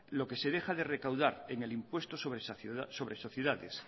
lo que se deja de recaudar en el impuesto sobre sociedades